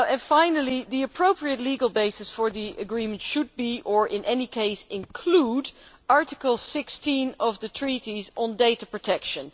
Finally, the appropriate legal basis for the agreement should be or in any case include Article 16 of the Treaties, on data protection.